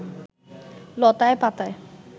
লতায় পাতায়